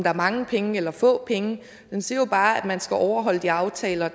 er mange penge eller få penge den siger jo bare at man skal overholde de aftaler